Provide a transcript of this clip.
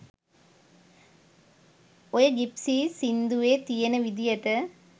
ඔය ජිප්සීස් සින්දුවෙ තියෙන විදියට